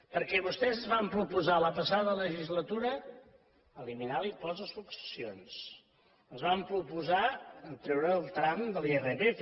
perquè vostès ens van proposar la passada legislatura eliminar l’impost de successions ens van proposar treure el tram de l’irpf